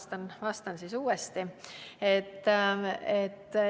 Ma vastan siis uuesti.